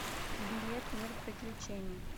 билет мир приключений